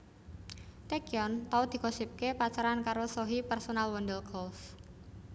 Taecyeon tau digosipake pacaran karo Sohee personel Wonder Girls